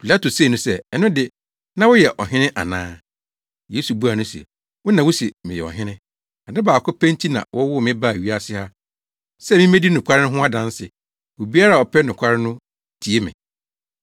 Pilato see no sɛ, “Ɛno de, na woyɛ ɔhene ana?” Yesu buaa no se, “Wo na wuse meyɛ ɔhene. Ade baako pɛ nti na wɔwoo me baa wiase ha, sɛ mimmedi nokware ho adanse. Obiara a ɔpɛ nokware no tie me.”